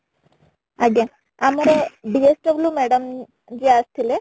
ଆଜ୍ଞା, ଆମର DSW madam ଯିଏ ଆସି ଥିଲେ